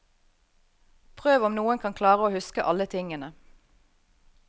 Prøv om noen kan klare å huske alle tingene.